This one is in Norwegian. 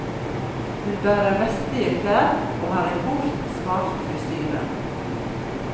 Hun bærer vestlige klær og har en kort, smart frisyre.